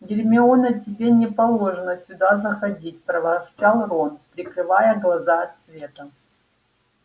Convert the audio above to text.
гермиона тебе не положено сюда заходить проворчал рон прикрывая глаза от света